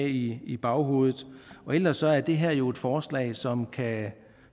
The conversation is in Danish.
i i baghovedet ellers er det her jo et forslag som